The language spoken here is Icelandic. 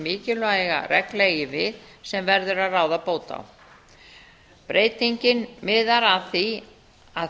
mikilvæga regla eigi við sem verður að ráða bót á breytingin miðar að því að